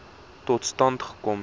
tot stand gekom